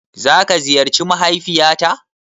Za ka ziyarci mahaifiya ta?